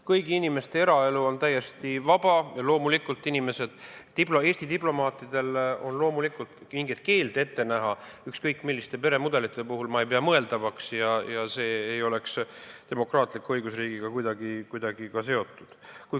Kõigi inimeste eraelu on täiesti vaba ja Eesti diplomaatidele mingeid keelde ükskõik milliste peremudelite puhul ette näha ei pea ma loomulikult mõeldavaks ja see ei oleks demokraatliku õigusriigiga kuidagi seotud.